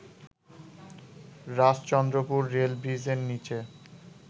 Rajchandrapur rail ব্রিজের নীচে